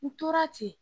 N tora ten